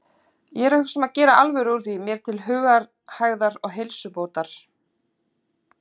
Ég er að hugsa um að gera alvöru úr því mér til hugarhægðar og heilsubótar.